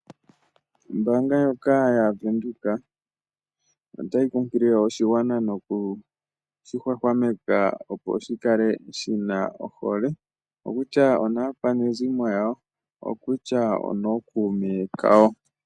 Ombaanga ndjoka ya venduka, ota yi kunkilile oshigwana no ku shi hwahwameka opo shi kale shina ohole, oko ku tya onaakwanezimo lyawo, oko kutya onookuume kawo.